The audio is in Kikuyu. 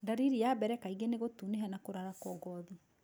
Ndariri ya mbere kaingĩ nĩ gũtunĩha na kũrarako gothi.